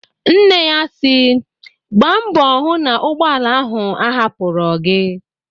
Nne ya sịrị "Gbaa mbọ hụ n' ụgbọala ahụ ahapụrọ gị"